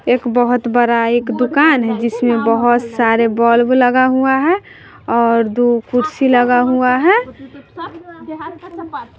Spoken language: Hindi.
एक बहोत बड़ा एक दुकान है जिसमें बोहोत सारे बल्ब लगा हुआ है और दुगो कुर्सी लगा हुआ है।